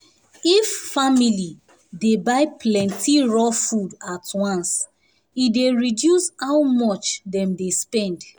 if family dey buy plenty raw food at once e dey reduce how much dem dey spend.